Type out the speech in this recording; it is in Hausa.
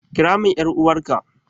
Kira min ƴar'uwarka!